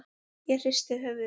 Ég hristi höfuðið.